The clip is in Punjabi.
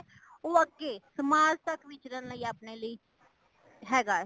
ਉਹ ਅੱਗੇ ਸਮਾਜ ਤੱਕ ਵਿਚਰਨ ਲਈ ਅਪਣੇ ਲਈ ਹੇਗਾਏ